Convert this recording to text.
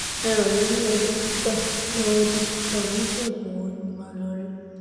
ẹ ràn mí lọ́wọ́ dókítà lọ́wọ́ dókítà oníṣègùn wo ni màá lọ rí?